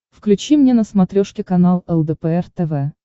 включи мне на смотрешке канал лдпр тв